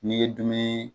N'i ye dumuni